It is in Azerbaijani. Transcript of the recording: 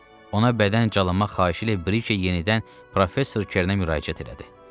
Ona bədən calamaq xahişi ilə Brike yenidən Professor Kerna müraciət elədi.